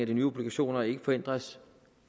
de nye obligationer ikke forhindres